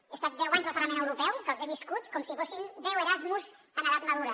he estat deu anys al parlament europeu que els he viscut com si fossin deu erasmus en edat madura